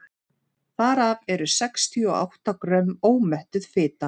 þar af eru sextíu og átta grömm ómettuð fita